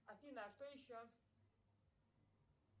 афина а что еще